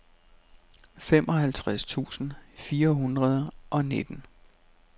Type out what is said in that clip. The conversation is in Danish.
femoghalvtreds tusind fire hundrede og nitten